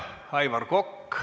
Aitäh!